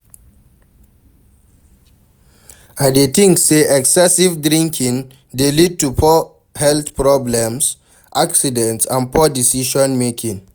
I dey think say excessive drinking dey lead to health problems, accidents and poor decision-making.